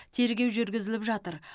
тергеу жүргізіліп жатыр